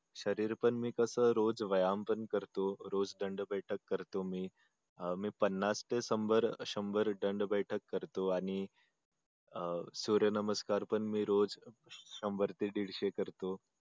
शरीर पण मी तस रोज व्यायाम पण करतो रोज दंड बैठक करतो मी मी पन्नास ते शंभर दंड बैठक करतो आणि सूर्यनमस्कार पण मी रोज शंभर ते दीडशे करतो